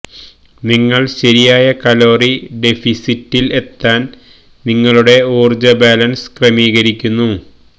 നിങ്ങൾ ശരിയായ കലോറി ഡെഫിസിറ്റിൽ എത്താൻ നിങ്ങളുടെ ഊർജ്ജ ബാലൻസ് ക്രമീകരിക്കുന്നു